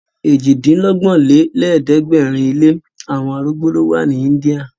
Èjì-dín-lọ́gbọ̀n lé lẹ̀ẹ́dẹ́gbẹ́rin ilé àwọn arúgbó ló wa ní India.